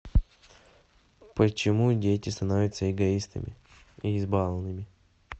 почему дети становятся эгоистами и избалованными